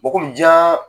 Bɔgɔ jiyan